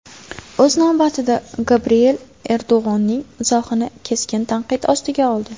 O‘z navbatida, Gabriel Erdo‘g‘onning izohini keskin tanqid ostiga oldi.